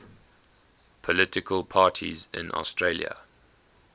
political parties in australia